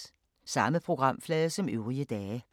Samme programflade som øvrige dage